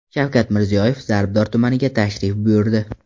Shavkat Mirziyoyev Zarbdor tumaniga tashrif buyurdi.